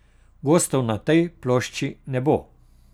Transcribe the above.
Gostov na tej plošči ne bo.